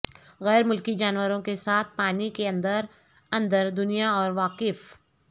غیر ملکی جانوروں کے ساتھ پانی کے اندر اندر دنیا اور واقف